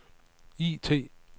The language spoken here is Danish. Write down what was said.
IT